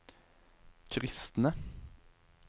kristne